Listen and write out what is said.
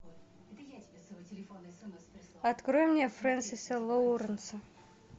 открой мне фрэнсиса лоуренса